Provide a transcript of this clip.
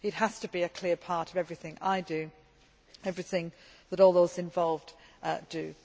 It has to be a clear part of everything I do and everything that all those involved do.